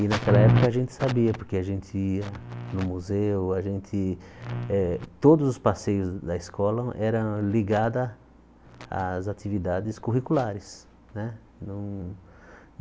E naquela época a gente sabia, porque a gente ia no museu, a gente eh... Todos os passeios da escola eram ligados às atividades curriculares, né? Não